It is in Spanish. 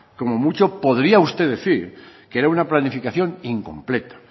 como mucho podría usted decir que era una planificación incompleta